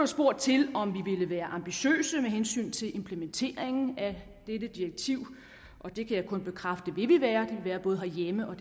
spurgt til om vi ville være ambitiøse med hensyn til implementeringen af dette direktiv og det kan jeg kun bekræfte at vi vil være både herhjemme og